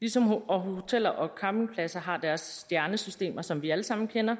ligesom hoteller og campingpladser har deres stjernesystemer som vi alle sammen kender